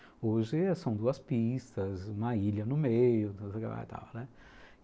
Hoje são duas pistas, uma ilha no meio